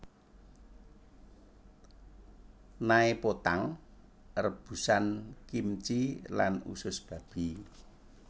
Naepotang rebusan kimchi lan usus babi